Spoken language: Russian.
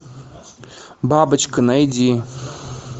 бабочка найди